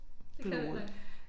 Det kan jeg heller ikke